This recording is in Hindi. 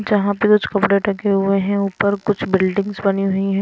जहां पे कुछ कपड़े टके हुए हैं ऊपर कुछ बिल्डिंग्स बनी हुई हैं।